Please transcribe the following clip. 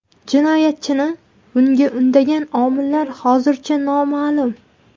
Jinoyatchini bunga undagan omillar hozircha noma’lum.